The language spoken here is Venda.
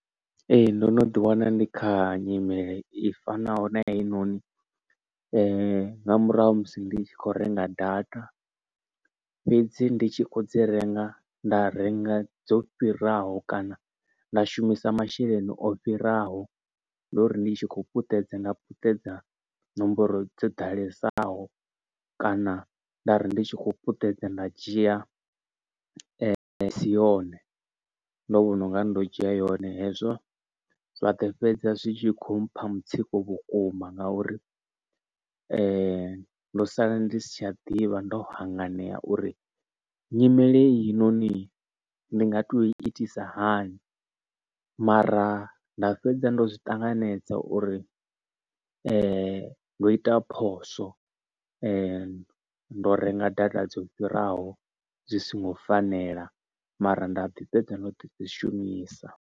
Ee ndo no ḓi wana ndi kha nyimele i fanaho na ya heinoni nga murahu musi ndi tshi kho renga data. Fhedzi ndi tshi kho dzi renga nda renga dzo fhiraho kana nda shumisa masheleni o fhiraho, ndo uri ndi tshi khou puṱedza nga puṱedza nomboro dzo ḓalesaho kana ndari ndi tshi khou puṱedza nda dzhia i si yone ndo vhona unga ndo dzhia yone. Hezwo zwa ḓo fhedza zwi tshi kho mpha mutsiko vhukuma ngauri ndo sala ndi si tsha ḓivha ndo hanganea uri nyimele heinoni ndi nga to itisa hani. Mara nda fhedza ndo zwi ṱanganedza uri ndo ita phoswo ndo renga data dzo fhiraho dzi songo fanela mara nda ḓi fhedza ndo ḓi dzi shumisa.